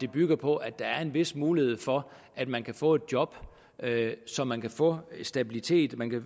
bygger på at der er en vis mulighed for at man kan få et job så man kan få stabilitet